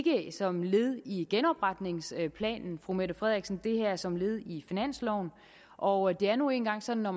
ikke som led i genopretningsplanen fru mette frederiksen det er som led i finansloven og det er nu engang sådan at